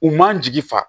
U man jigi fa